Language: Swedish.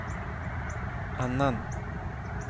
annan